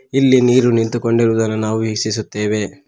ಇಲ್ಲಿ ನೀರು ನಿಂತುಕೊಂಡಿರುದನ್ನು ನಾವು ವೀಕ್ಷಿಸುತ್ತೇವೆ.